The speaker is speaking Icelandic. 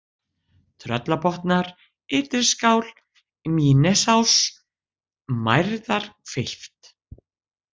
Tröllabotnar, Ytriskál, Mýnesás, Mærðarhvilft